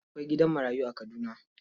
Akwai gidan marayu a Kaduna.